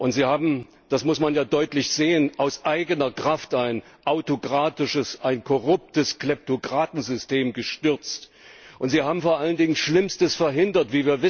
Sie haben das muss man ja deutlich sehen aus eigener Kraft ein autokratisches, ein korruptes Kleptokratensystem gestürzt, und sie haben vor allen Dingen Schlimmstes verhindert.